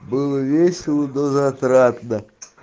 было весело до затратно